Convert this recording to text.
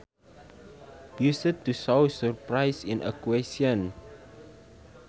Used to show surprise in a question